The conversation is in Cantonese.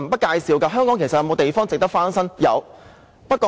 香港是否還有其他地方值得翻新的呢？